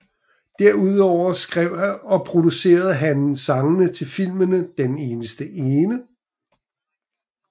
Derudover skrev og producerede han sangene til filmen Den eneste ene